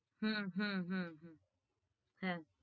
হম হম হম হ্যাঁ